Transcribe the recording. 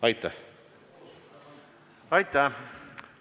Aitäh!